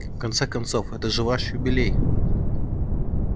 в конце концов это же ваш юбилей